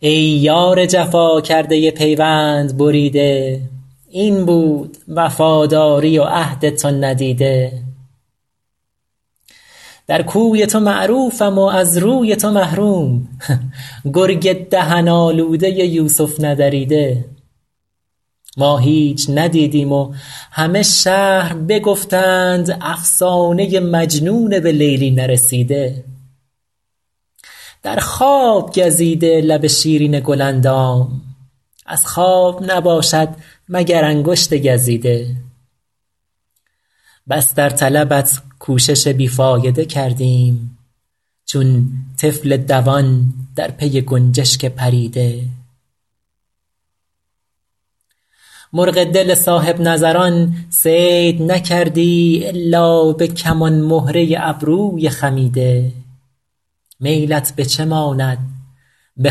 ای یار جفا کرده پیوند بریده این بود وفاداری و عهد تو ندیده در کوی تو معروفم و از روی تو محروم گرگ دهن آلوده یوسف ندریده ما هیچ ندیدیم و همه شهر بگفتند افسانه مجنون به لیلی نرسیده در خواب گزیده لب شیرین گل اندام از خواب نباشد مگر انگشت گزیده بس در طلبت کوشش بی فایده کردیم چون طفل دوان در پی گنجشک پریده مرغ دل صاحب نظران صید نکردی الا به کمان مهره ابروی خمیده میلت به چه ماند به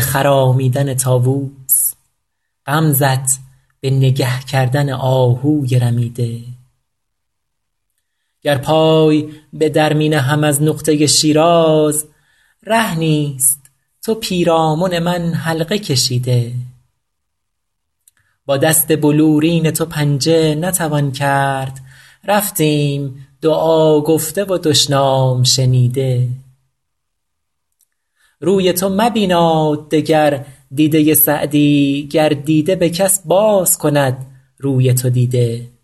خرامیدن طاووس غمزه ت به نگه کردن آهوی رمیده گر پای به در می نهم از نقطه شیراز ره نیست تو پیرامن من حلقه کشیده با دست بلورین تو پنجه نتوان کرد رفتیم دعا گفته و دشنام شنیده روی تو مبیناد دگر دیده سعدی گر دیده به کس باز کند روی تو دیده